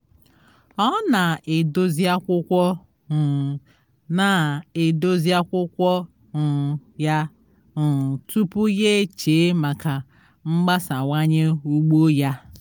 ọ na-edozi akwụkwọ um na-edozi akwụkwọ um ya um tupu ya eche maka mgbasawanye ugbo ya